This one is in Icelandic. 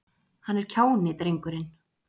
Hann er kjáni, drengurinn.